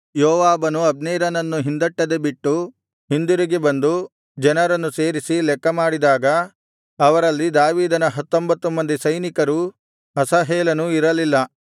ಯೋವಾಬನು ಅಬ್ನೇರನನ್ನು ಹಿಂದಟ್ಟದೆ ಬಿಟ್ಟು ಹಿಂದಿರುಗಿ ಬಂದು ಜನರನ್ನು ಸೇರಿಸಿ ಲೆಕ್ಕಮಾಡಿದಾಗ ಅವರಲ್ಲಿ ದಾವೀದನ ಹತ್ತೊಂಬತ್ತು ಮಂದಿ ಸೈನಿಕರೂ ಅಸಾಹೇಲನೂ ಇರಲಿಲ್ಲ